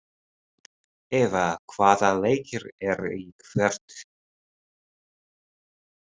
Eva, hvaða leikir eru í kvöld?